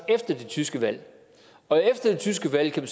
efter det tyske valg og efter det tyske valg kan